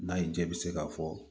N'a y'i diya i bɛ se k'a fɔ